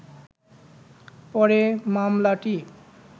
পরে মামলাটি